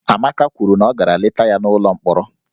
Amaka kwuru na ọ gara leta ya n'ụlọ mkpọrọ